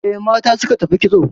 E, mata suka tafi kitso